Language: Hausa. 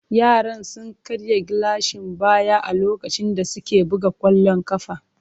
Yaran sun karya gilashin baya a lokacin da suke buga kwallon kafa.